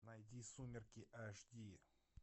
найди сумерки аш ди